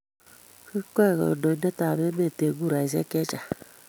Kikwee kandoindetab emet eng kuraishek chechang